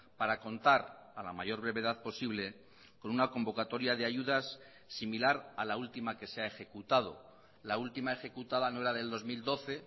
para contar a la mayor brevedad posible con una convocatoria de ayudas similar a la última que se ha ejecutado la última ejecutada no era del dos mil doce